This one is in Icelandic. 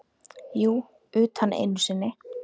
Jú, utan einu sinni.